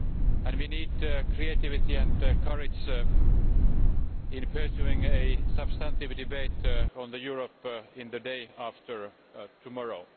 and we need creativity and courage in pursuing a substantive debate on Europe in the day after tomorrow.